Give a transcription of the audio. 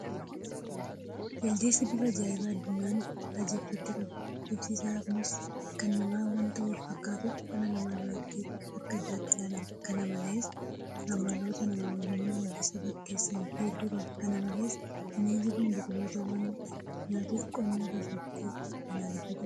Jaldeessi bifa ajaa'ibaa addunyaan raajeffatte qaba. Bifti isaa kunis nama waanta fakkaatuuf dhala namaa biratti akka addaatti ilalama. Kana malees amaloota nama wajjin wal isa fakkeessan hedduu qaba. Kana malees bineensi kun biqiltoota waanta nyaatuuf qonna keessatti balaaleffatamaadha.